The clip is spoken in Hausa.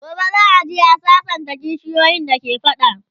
gobe za'a je a sassanta kishiyoyin da ke fada